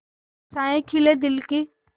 आशाएं खिले दिल की